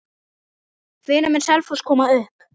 Hvenær mun Selfoss komast upp?